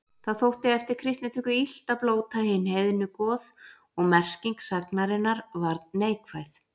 Það þótti eftir kristnitöku illt að blóta hin heiðnu goð og merking sagnarinnar varð neikvæð.